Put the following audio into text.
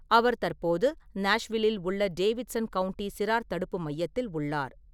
அவர் தற்போது நாஷ்வில்லில் உள்ள டேவிட்சன் கவுண்டி சிறார் தடுப்பு மையத்தில் உள்ளார்.